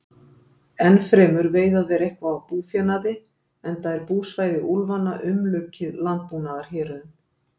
Ennfremur veiða þeir eitthvað af búfénaði, enda er búsvæði úlfanna umlukið landbúnaðarhéruðum.